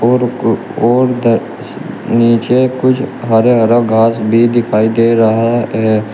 और कु और द नीचे कुछ हरे हरा घास भी दिखाई दे रहा है।